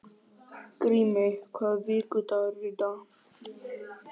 Grímey, hvaða vikudagur er í dag?